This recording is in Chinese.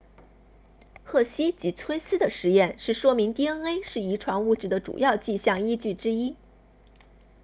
赫希及崔斯 hershey and chase 的实验是说明 dna 是遗传物质的主要迹象依据之一